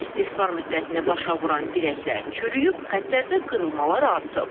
İstismar müddətini başa vuran dirəklər çürüyüb, xətlərdə qırılmalar artıb.